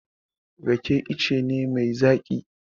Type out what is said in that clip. Rake ice ne mai zaƙi.